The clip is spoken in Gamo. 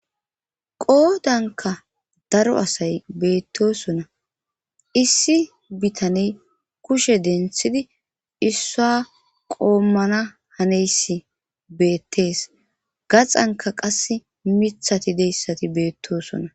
qoodankka daro asay beetosona;issi bitaney kushe denthidi issuwa qoommana haneyssi beettes;gaxankka qassi mithathi deyssati beettoosona.